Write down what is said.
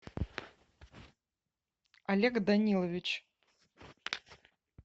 олег данилович